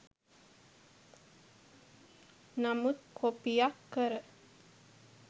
නමුත් කොපියක් කර